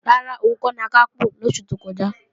Rárá, òun kò lakápò lósù tó kọjá